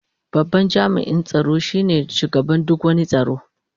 Babban jami'in tsaro shine shugaban duk wani tsaro.